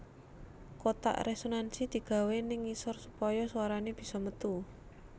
Kotak resonansi digawé ning ngisor supaya swarane bisa metu